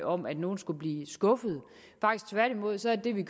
om at nogen skulle blive skuffet tværtimod er det vi